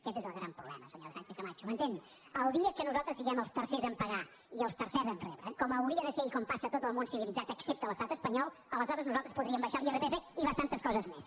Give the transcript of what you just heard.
aquest és el gran problema senyora sànchez camacho m’entén el dia que nosaltres siguem els tercers a pagar i els tercer a rebre com hauria de ser i com passa a tot el món civilitzat excepte a l’estat espanyol aleshores nosaltres podríem abaixar l’irpf i bastants coses més